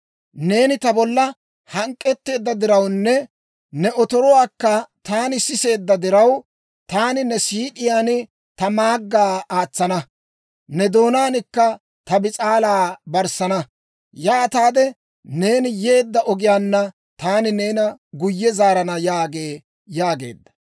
Neeni ta bolla hank'k'etteedda dirawunne, ne otoruwaakka taani siseedda diraw, taani ne siid'iyaan ta maaggaa aatsana; ne doonaankka ta bis'aalaa barssana. Yaataade neeni yeedda ogiyaanna, taani neena guyye zaarana yaagee» yaageedda.